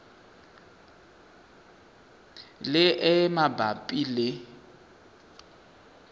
le e e mabapi le